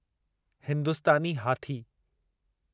हिंदुस्तानी हाथी